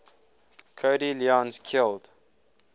cody lyons killed